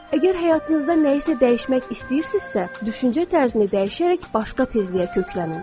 Əgər həyatınızda nəyisə dəyişmək istəyirsinizsə, düşüncə tərzini dəyişərək başqa tezliyə köklənin.